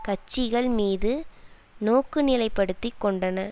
கட்சிகள் மீது நோக்குநிலைப்படுத்திக் கொண்டன